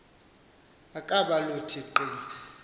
ukaba luthi qi